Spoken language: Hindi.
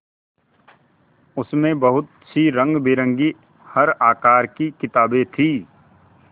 उसमें बहुत सी रंगबिरंगी हर आकार की किताबें थीं